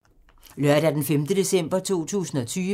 Lørdag d. 5. december 2020